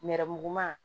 Nɛrɛmuguman